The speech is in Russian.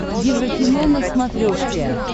еврокино на смотрешке